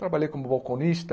Trabalhei como balconista.